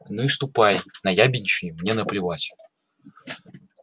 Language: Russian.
ну и ступай наябедничай мне наплевать